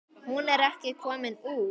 Hún er ekki komin út.